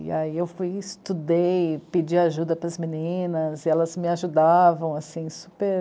E aí eu fui, estudei, pedi ajuda para as meninas, elas me ajudavam, assim, super...